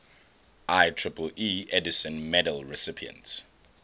ieee edison medal recipients